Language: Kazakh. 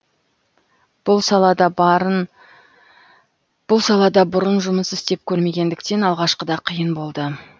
бұл салада бұрын жұмыс істеп көрмегендіктен алғашқыда қиын болды